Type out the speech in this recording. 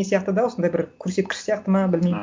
не сияқты да осындай бір көрсеткіш сияқты ма білмеймін